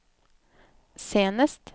senest